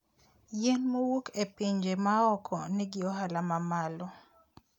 Yien mowuok e pinje maoko nigi ohala mamalo.